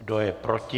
Kdo je proti?